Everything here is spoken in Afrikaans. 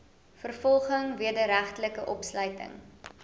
vervolging wederregtelike opsluiting